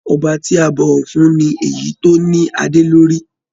Ọba tí a bọwọ fún ní èyí tó ní adé lórí.